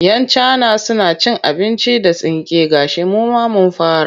Yan cana suna cin abinci da tsinke gashi mu ma mun fara.